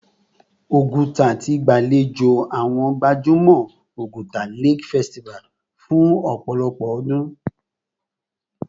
Oguta ti gbalejo awọn gbajumọ Oguta Lake Festival fun opolopo odun